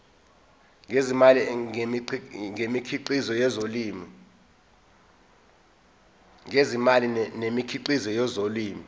ngezimali ngemikhiqizo yezolimo